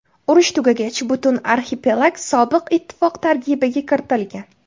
Urush tugagach, butun arxipelag Sobiq ittifoq tarkibiga kiritilgan.